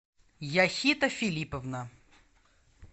яхита филипповна